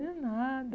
De nada.